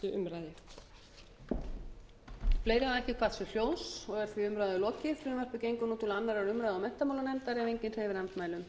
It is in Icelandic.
grein fyrir frumvarpi þessu og legg til að því verði vísað til háttvirtrar menntamálanefndar að lokinni fyrstu umræðu